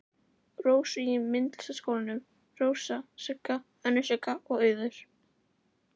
Rósu í Myndlistaskólanum, Rósa, Sigga, önnur Sigga og Auður.